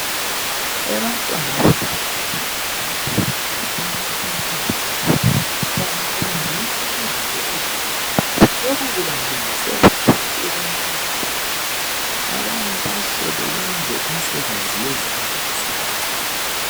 Abantwana besekhondari labemfundo yezinga eliphezulu bafundiswa izinto ezinengi lokhu kubalungisela empilweni engaphambili abanye bahle benze imisebenzi yezandla besebancane.